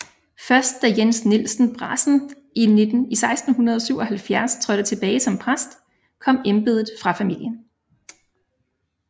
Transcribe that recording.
Først da Jens Nielsen Brasen i 1677 trådte tilbage som præst kom embedet fra familien